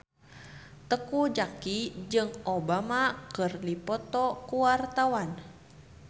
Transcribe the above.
Teuku Zacky jeung Obama keur dipoto ku wartawan